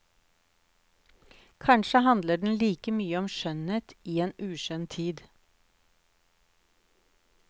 Kanskje handler den like mye om skjønnhet i en uskjønn tid.